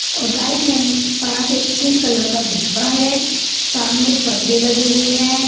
और right hand पास एक पिंक कलर का डिब्बा है सामने पर्दे लगे हुए हैं।